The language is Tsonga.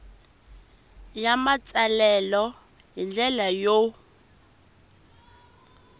ya matsalelo hi ndlela yo